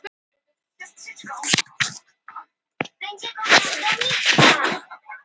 Kostar mjög lítið.